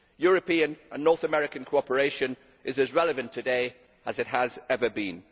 European and North American cooperation is as relevant today as it has ever been.